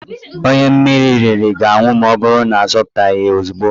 Onye mmiri riri ga-anwụ maọbụrụ na azọpụtaghị ya ozugbo